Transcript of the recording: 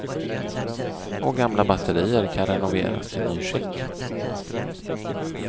Och gamla batterier kan renoveras till nyskick.